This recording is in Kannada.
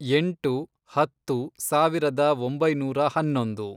ಎಂಟು, ಹತ್ತು, ಸಾವಿರದ ಒಂಬೈನೂರ ಹನ್ನೊಂದು